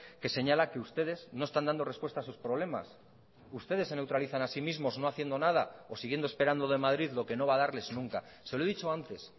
que señala que ustedes no están dando respuesta a sus problemas ustedes se neutralizan a sí mismos no haciendo nada o siguiendo esperando de madrid lo que no va a darles nunca se lo he dicho antes